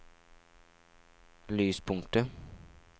lyspunktet